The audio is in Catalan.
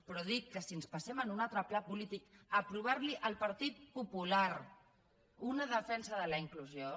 però dic que si ens passem a un altre pla polític aprovar li al partit popular una defensa de la inclusió